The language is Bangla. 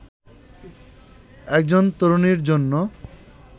একজন তরুণীর জন্য